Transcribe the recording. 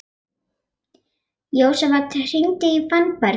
Jósafat, hringdu í Fannberg eftir fimmtíu og sjö mínútur.